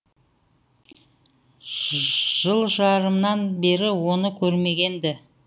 жыл жарымнан бері оны көрмеген ді